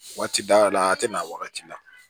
Waati dayɛlɛ a la a tɛ na wagati la